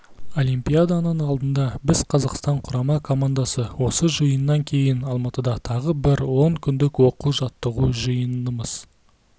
олимпиаданың алдында біз қазақстан құрама командасы осы жиыннан кейін алматыда тағы бір он күндік оқу-жаттығу жиынымыз